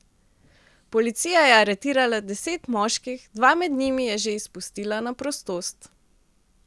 Policija je aretirala deset moških, dva med njimi je že izpustila na prostost.